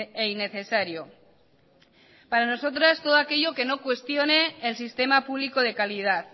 e innecesario para nosotras todo aquello que no cuestione el sistema público de calidad